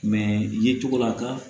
ye cogo la ka